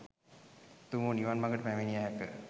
උතුම් වූ නිවන් මඟට පැමිණිය හැක.